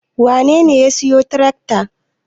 Wanene ya siyo tirakta?